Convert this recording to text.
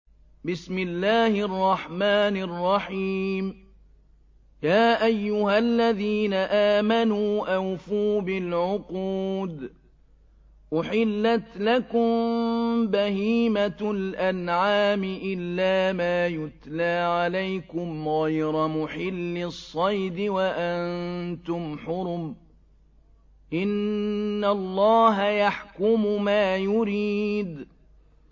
يَا أَيُّهَا الَّذِينَ آمَنُوا أَوْفُوا بِالْعُقُودِ ۚ أُحِلَّتْ لَكُم بَهِيمَةُ الْأَنْعَامِ إِلَّا مَا يُتْلَىٰ عَلَيْكُمْ غَيْرَ مُحِلِّي الصَّيْدِ وَأَنتُمْ حُرُمٌ ۗ إِنَّ اللَّهَ يَحْكُمُ مَا يُرِيدُ